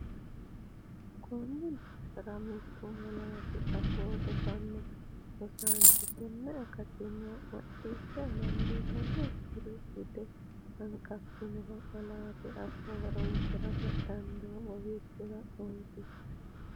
Konni daafira mittu malaatu afoo rosanno rosaanchi tenne akattanna mac- ciishsha dandiitannokkiri bude hanqafannoha malaatu afoo horoonsi’rate dandoo bowirsi’ra noosi.